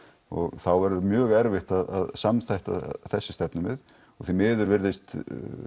og þá verður mjög erfitt að samþætta þessi stefnumið og því miður virðist